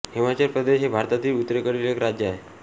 हिमाचल प्रदेश हे भारतातील उत्तरेकडील एक राज्य आहे